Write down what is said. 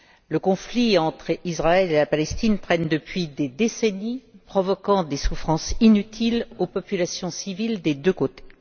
Le conflit entre Israël et la Palestine traîne depuis des décennies provoquant des souffrances inutiles aux populations civiles des deux côtés.